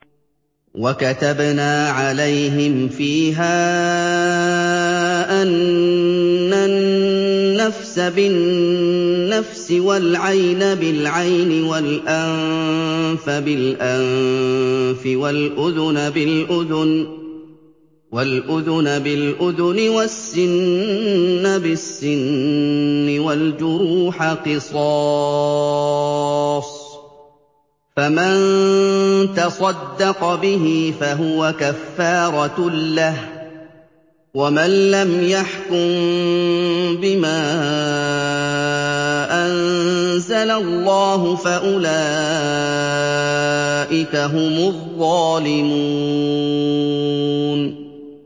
وَكَتَبْنَا عَلَيْهِمْ فِيهَا أَنَّ النَّفْسَ بِالنَّفْسِ وَالْعَيْنَ بِالْعَيْنِ وَالْأَنفَ بِالْأَنفِ وَالْأُذُنَ بِالْأُذُنِ وَالسِّنَّ بِالسِّنِّ وَالْجُرُوحَ قِصَاصٌ ۚ فَمَن تَصَدَّقَ بِهِ فَهُوَ كَفَّارَةٌ لَّهُ ۚ وَمَن لَّمْ يَحْكُم بِمَا أَنزَلَ اللَّهُ فَأُولَٰئِكَ هُمُ الظَّالِمُونَ